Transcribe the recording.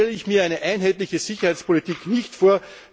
So stelle ich mir eine einheitliche Sicherheitspolitik nicht vor.